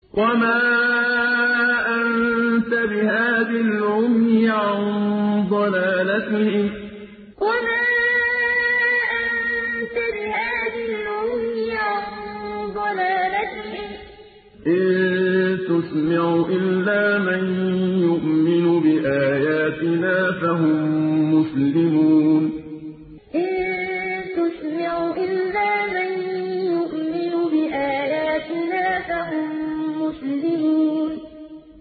وَمَا أَنتَ بِهَادِي الْعُمْيِ عَن ضَلَالَتِهِمْ ۖ إِن تُسْمِعُ إِلَّا مَن يُؤْمِنُ بِآيَاتِنَا فَهُم مُّسْلِمُونَ وَمَا أَنتَ بِهَادِي الْعُمْيِ عَن ضَلَالَتِهِمْ ۖ إِن تُسْمِعُ إِلَّا مَن يُؤْمِنُ بِآيَاتِنَا فَهُم مُّسْلِمُونَ